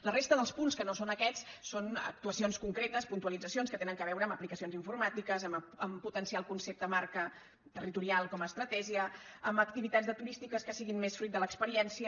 la resta dels punts que no són aquests són actuacions concretes puntualitzacions que tenen a veure amb aplicacions informàtiques a potenciar el concepte marca territorial com a estratègia amb activitats turístiques que siguin més fruit de l’experiència